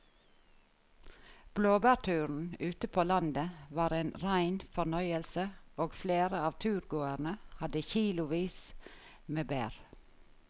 Blåbærturen ute på landet var en rein fornøyelse og flere av turgåerene hadde kilosvis med bær.